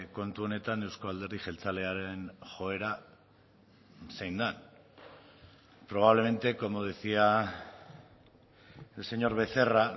kontu honetan euzko alderdi jeltzalearen joera zein den probablemente como decía el señor becerra